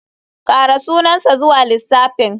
Ƙara sunansa zuwa lissafin.